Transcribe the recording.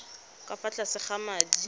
ka fa tlase ga madi